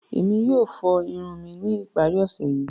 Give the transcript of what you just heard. Emi yoo fo irun mi ni ipari ọse yii.